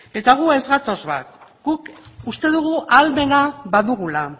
eta orduan ez gatoz bat guk uste dugu ahalmena badugula